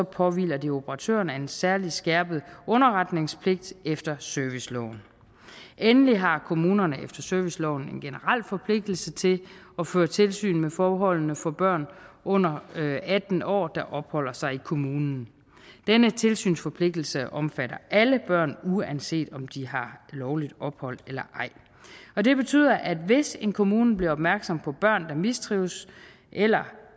påhviler der operatørerne en særlig skærpet underretningspligt efter serviceloven endelig har kommunerne efter serviceloven en generel forpligtelse til at føre tilsyn med forholdene for børn under atten år der opholder sig i kommunen denne tilsynsforpligtelse omfatter alle børn uanset om de har lovligt ophold eller ej og det betyder at hvis en kommune bliver opmærksom på børn der mistrives eller